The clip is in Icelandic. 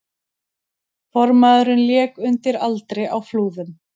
Formaðurinn lék undir aldri á Flúðum